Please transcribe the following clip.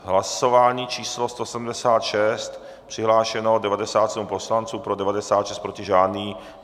Hlasování číslo 176, přihlášeno 97 poslanců, pro 96, proti žádný.